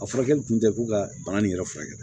A furakɛli tun tɛ ko ka bana nin yɛrɛ furakɛ